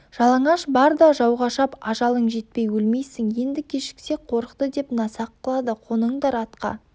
жалаңаш бар да жауға шап ажалың жетпей өлмейсің енді кешіксек қорықты деп насақ қылады қоныңдар атқа